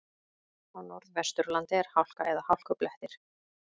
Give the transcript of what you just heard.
Á Norðvesturlandi er hálka eða hálkublettir